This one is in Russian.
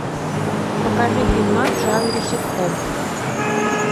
покажи фильмас в жанре ситком